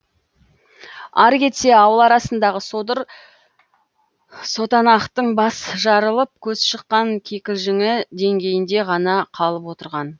ары кетсе ауыл арасындағы содыр сотанақтың бас жарылып көз шыққан кикілжіңі деңгейінде ғана қалып отырған